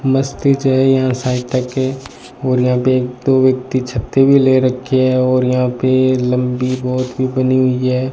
मस्ती चाहिए यहां साहित्य के और यहां पे दो व्यक्ति छाते भी ले रखी है और यहां पे लंबी बहोत ही बनी हुई है।